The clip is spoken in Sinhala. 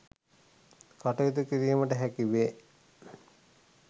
කටයුතු කිරීමට හැකි වේ.